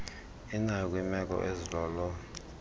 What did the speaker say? inayo kwiimeko ezilolo